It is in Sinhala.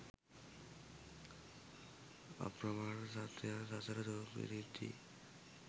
අප්‍රමාණ සත්වයන් සසර දුක් විඳිද්දී